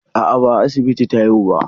A'a, ba a asibiti ta haihu ba.